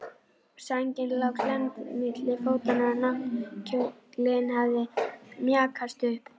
Sængin lá klemmd milli fótanna og náttkjóllinn hafði mjakast upp.